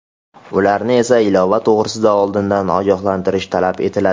Ularni esa ilova to‘g‘risida oldindan ogohlantirish talab etiladi.